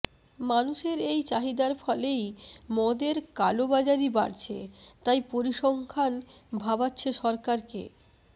মানুষের এই চাহিদার ফলেই মদের কালোবাজারি বাড়ছে তাই পরিসংখ্যান ভাবাচ্ছে সরকারকে